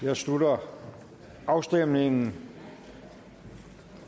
jeg slutter afstemningen